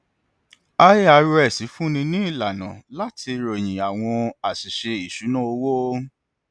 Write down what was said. irs fúnni ní ìlànà láti ròyìn àwọn àṣìṣe ìṣúnná owó